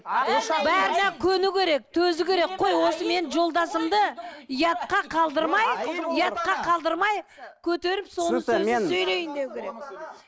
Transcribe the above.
бәріне көну керек төзу керек қой осы мен жолдасымды ұятқа қалдырмай ұятқа қалдырмай көтеріп соның сөзін сөйлейін деуі керек